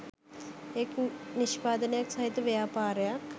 එක් නිෂ්පාදනයක් සහිත ව්‍යාපාරයක්